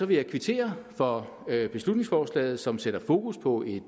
vil jeg kvittere for beslutningsforslaget som sætter fokus på et